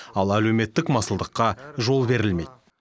ал әлеуметтік масылдыққа жол берілмейді